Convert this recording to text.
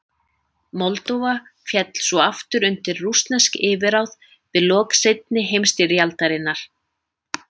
Moldóva féll svo aftur undir rússnesk yfirráð við lok seinni heimstyrjaldarinnar.